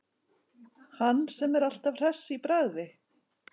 Hann sem er alltaf hress í bragði.